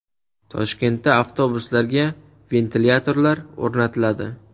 Toshkentda avtobuslarga ventilyatorlar o‘rnatiladi.